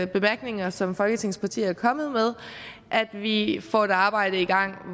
bemærkninger som folketingets partier er kommet med at vi får et arbejde i gang